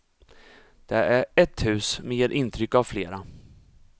Det är ett hus, men ger intryck av flera.